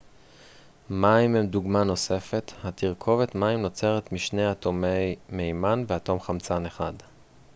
מים הם דוגמה נוספת התרכובת מים נוצרת משני אטומי מימן ואטום חמצן אחד